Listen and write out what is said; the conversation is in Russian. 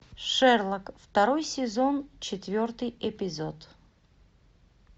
шерлок второй сезон четвертый эпизод